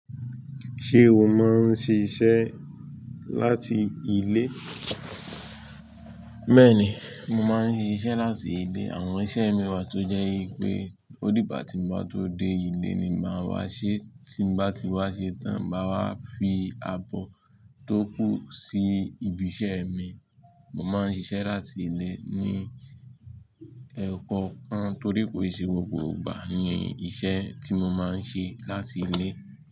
Ṣé o máa ń ṣiṣẹ́ láti ilé? Béèni, mo máa ń ṣiṣẹ́ láti ilé. Àwọn iṣẹ́ mi wà tó jẹ́ pé, ó dìgbà tí mo bá tó dé ilé ni màá wá ṣe, tí mo bá ti wá ṣe tán, màá wá fi abọ́ tó kù sí ibi iṣẹ́ mi. Mo máa ń ṣiṣẹ́ láti ilé ní ọ̀pọ̀ nkan torí pé kii se gbogbo igbà ni iṣẹ́ tí mo máa ń ṣe láti ilé.